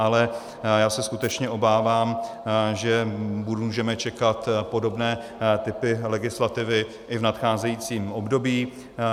Ale já se skutečně obávám, že můžeme čekat podobné typy legislativy i v nadcházejícím období.